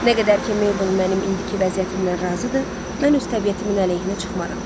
Nə qədər ki Meybel mənim indiki vəziyyətimlə razıdır, mən öz təbiətimin əleyhinə çıxmaram.